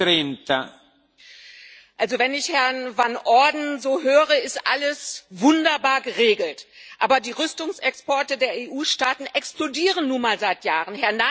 Herr Präsident! Wenn ich Herrn van Orden so höre, ist alles wunderbar geregelt. Aber die Rüstungsexporte der EU-Staaten explodieren nun mal seit Jahren.